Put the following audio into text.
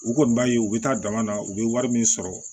U kɔni b'a ye u bɛ taa dama na u bɛ wari min sɔrɔ